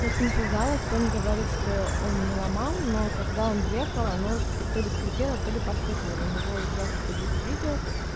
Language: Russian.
я с ним связалась он говорит что он не ломал но когда он ехал оно то ли скрипело то ли постукивало у него якобы есть видео